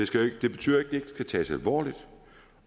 det betyder jo ikke skal tages alvorligt